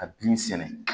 Ka bin sɛnɛ